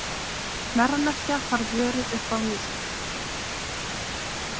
Verðmerkja þarf vörur upp á nýtt.